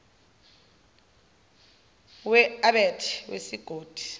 we abet wesigodi